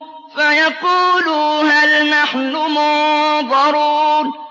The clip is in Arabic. فَيَقُولُوا هَلْ نَحْنُ مُنظَرُونَ